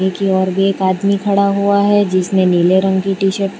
की और भी एक आदमी खड़ा हुआ है जिसने नीले रंग की टी शर्ट पह --